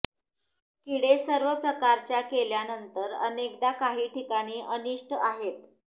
किडे सर्व प्रकारच्या केल्यानंतर अनेकदा काही ठिकाणी अनिष्ट आहेत